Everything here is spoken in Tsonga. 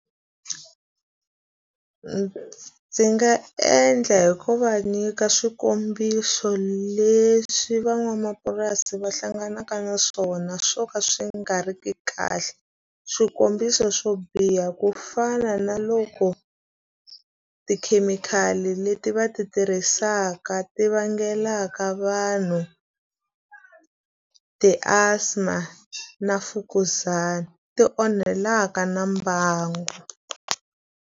ndzi nga endla hi ku va nyika swikombiso leswi van'wamapurasi va hlanganaka na swona swo ka swi nga ri ki kahle. Swikombiso swo biha ku fana na loko tikhemikhali leti va ti tirhisaka ti vangelaka vanhu ti-asthma na mfukuzana, ti onhelaka na mbangu.